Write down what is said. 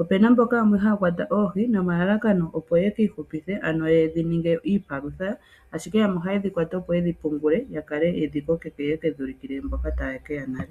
Opena mboka yamwe ha ya kwata oohi nomalalakano opo ye ki ihupithe, ano ye dhi ninge iipalutha, ashike yamwe oha ye shikwata opo ye dhi pungule yakale yo yedhi kokeke, yo ye ke dhi ulukile mboka ta ye keya nale.